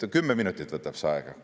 Kümme minutit võtab see aega!